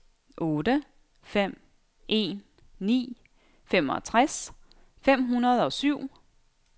otte fem en ni femogtres fem hundrede og syv